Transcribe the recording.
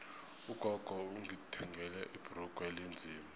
ugogo ungithengele ibhrugu elinzima